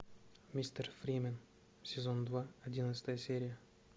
мистер фримен сезон два одиннадцатая серия